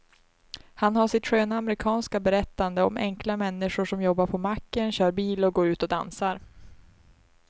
Han har sitt sköna amerikanska berättande om enkla människor som jobbar på macken, kör bil och går ut och dansar.